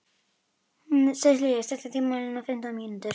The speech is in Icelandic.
Sesilía, stilltu tímamælinn á fimmtán mínútur.